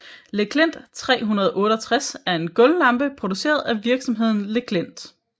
Le Klint 368 er en gulvlampe produceret af virksomheden Le Klint